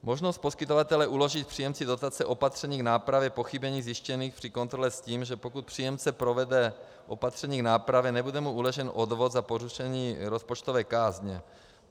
Možnost poskytovatele uložit příjemci dotace opatření k nápravě pochybení zjištěných při kontrole s tím, že pokud příjemce provede opatření k nápravě, nebude mu uložen odvod za porušení rozpočtové kázně.